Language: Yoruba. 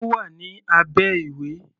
Ó wà ní abẹ́ ìwé.